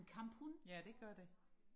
ja det gør det